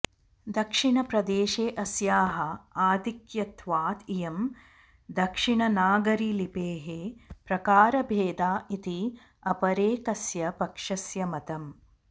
दक्षिणप्रदेशे अस्याः आधिक्यत्वात् इयं दक्षिणनागरीलिपेः प्रकारभेदा इति अपरेकस्य पक्षस्य मतम्